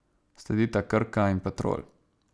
Sledita Krka in Petrol.